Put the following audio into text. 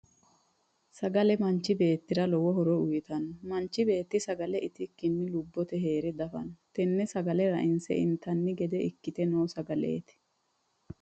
Sagale manchi beetira lowo horo uyitano. Manchi beeti sagale itikinni lubote heere dafano. Tenne sagale ra'inse intanni gede ikkite noo sagaleeti.